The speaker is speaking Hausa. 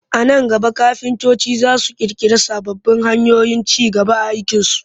A nan gaba kafintoci za su ƙirƙiri sababbin hanyoyin ci gaba a aikinsu